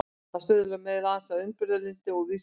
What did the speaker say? það stuðlar meðal annars að umburðarlyndi og víðsýni